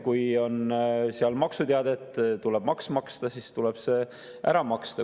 Kui on seal maksuteade, et tuleb maks maksta, siis tuleb see ära maksta.